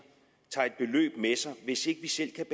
tager et beløb med sig hvis ikke vi selv kan